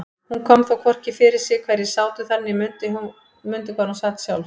Hún kom þó hvorki fyrir sig hverjir sátu þar né mundi hvar hún sat sjálf.